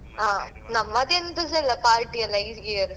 ಹ ನಮ್ಮದೆಂತ ಸಾ ಇಲ್ಲ party ಎಂತ ಇಲ್ಲ ಈ year.